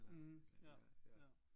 Mh ja ja